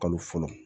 Kalo fɔlɔ